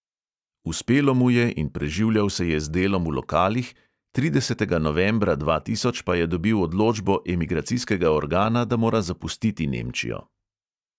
Uspelo mu je in preživljal se je z delom v lokalih, tridesetega novembra dva tisoč pa je dobil odločbo emigracijskega organa, da mora zapustiti nemčijo.